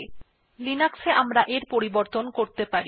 কিন্তু লিনাক্সে আমরা এটির পরিবর্তন করতে পারি